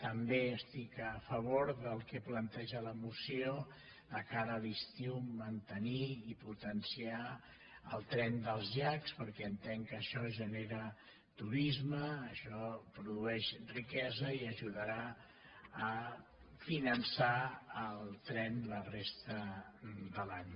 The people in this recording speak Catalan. també estic a favor del que planteja la moció de cara a l’estiu mantenir i potenciar el tren dels llacs perquè entenc que això genera turisme això produeix riquesa i ajudarà a finançar el tren la resta de l’any